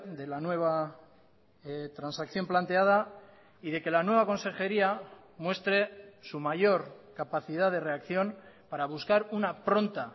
de la nueva transacción planteada y de que la nueva consejería muestre su mayor capacidad de reacción para buscar una pronta